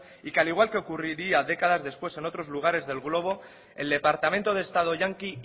y que al igual que ocurriría décadas después en otros lugares del globo el departamento de estado yanqui